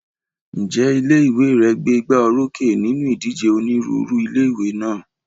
Ǹjẹ́ ilé ìwé rẹ gbé igbá orókè nínú ìdíje onírúurú ilé ìwé náà?